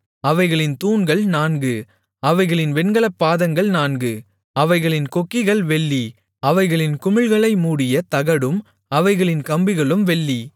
அவைகளின் தூண்கள் நான்கு அவைகளின் வெண்கலப் பாதங்கள் நான்கு அவைகளின் கொக்கிகள் வெள்ளி அவைகளின் குமிழ்களை மூடிய தகடும் அவைகளின் கம்பிகளும் வெள்ளி